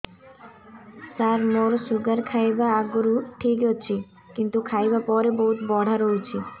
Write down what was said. ସାର ମୋର ଶୁଗାର ଖାଇବା ଆଗରୁ ଠିକ ଅଛି କିନ୍ତୁ ଖାଇବା ପରେ ବହୁତ ବଢ଼ା ରହୁଛି